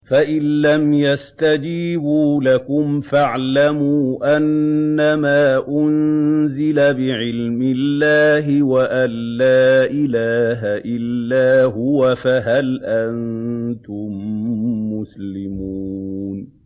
فَإِلَّمْ يَسْتَجِيبُوا لَكُمْ فَاعْلَمُوا أَنَّمَا أُنزِلَ بِعِلْمِ اللَّهِ وَأَن لَّا إِلَٰهَ إِلَّا هُوَ ۖ فَهَلْ أَنتُم مُّسْلِمُونَ